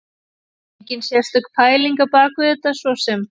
Enginn sérstök pæling á bak við þetta svo sem.